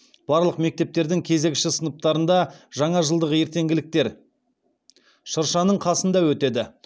барлық мектептердің кезекші сыныптарында жаңажылдық ертеңгіліктершыршаның қасында өтеді